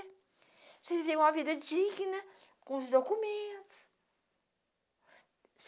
Você viver uma vida digna, com os documentos.